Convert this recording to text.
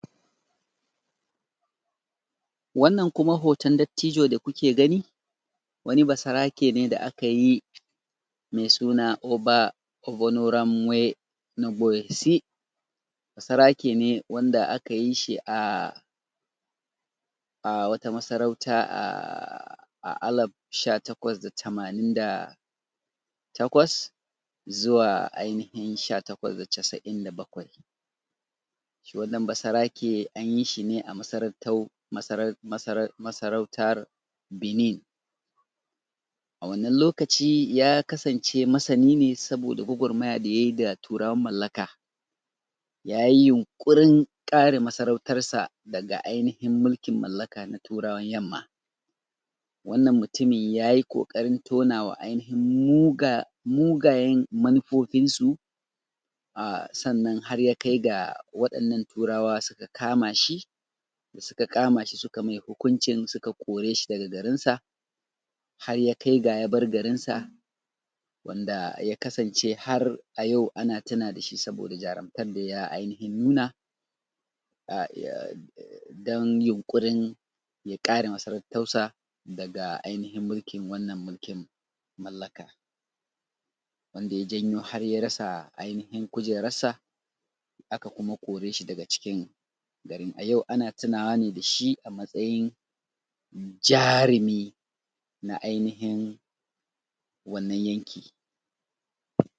Wannan kuma hoton dattijo da kuke gani, wani basarake ne da akyi me suna Oba Obonoramwe Nuboyesi. Basarake ne wanda akayi shi a a wata masarauta aa aa alaf sha takwas da tamanin da takwas. Zuwa ainihin sha takwas da casa’in da bakwai. shi wannan basarake, anyi shi ne a masarautar masarau masarau masarautar Benin. A wannan lokaci ya kasance masani ne, saboda gwagwarmaya da yayi da turawan mallaka. Yayi yinkurin ƙare masarautar sa, daga ainihin mulkin mallaka na turawan yamma. Wannan mutumi yayi kokarin tonawa ainihin muga mugayen manufufinsu. A sannan har ya kai ga, waɗannan turawa suka kamashi, suka ƙamashi su ka mai hukuncin suka korasa daga garinsa. Haryakai ga yabar garinsa. Wanda yakasance har a yau, ana tuna dashi saboda jarumtar daya ainihin nuna. A iyag don yunkurin ya ƙare masarautarsa, daga ainihin wannan mulkin mallaka. Wanda ya janyo har yarasa ainihin kujerarsa, Aka kuma koreshi daga cikin garin. A yau ana tunawa ne dashi amatsayi jarumi, na aihinin wannan yankin.